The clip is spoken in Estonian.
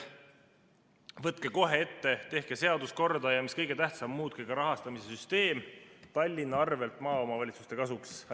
Võtke seadus kohe ette, tehke korda, ja mis kõige tähtsam, muutke rahastamise süsteem Tallinna arvel maaomavalitsuste kasuks!